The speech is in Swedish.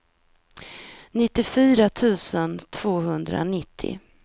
nittiofyra tusen tvåhundranittio